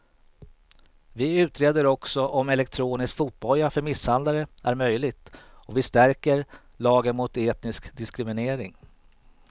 Vi utreder också om elektronisk fotboja för misshandlare är möjligt och vi stärker lagen mot etnisk diskriminering.